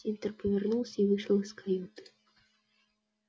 тинтер повернулся и вышел из каюты